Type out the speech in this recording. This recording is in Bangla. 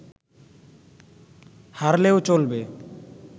হারলেও চলবে